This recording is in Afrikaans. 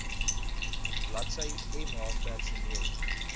bladsy mh personeel